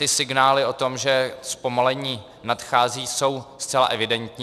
Ty signály o tom, že zpomalení nadchází, jsou zcela evidentní.